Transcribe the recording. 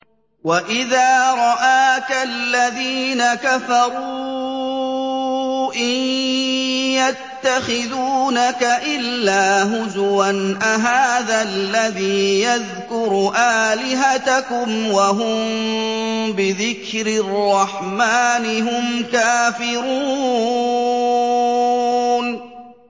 وَإِذَا رَآكَ الَّذِينَ كَفَرُوا إِن يَتَّخِذُونَكَ إِلَّا هُزُوًا أَهَٰذَا الَّذِي يَذْكُرُ آلِهَتَكُمْ وَهُم بِذِكْرِ الرَّحْمَٰنِ هُمْ كَافِرُونَ